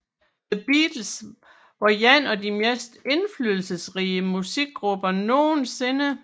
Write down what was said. The Beatles var en af de mest indflydelsesrige musikgrupper nogensinde